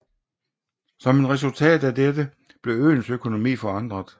Som et resultat af dette blev øens økonomi forandret